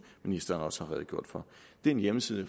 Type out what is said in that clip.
ministeren også har redegjort for det er en hjemmeside